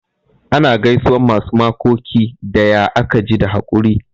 Ana gaisuwan masu makoki da "ya aka ji da hakuri'?